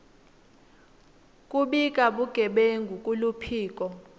kubika bugebengu kuluphiko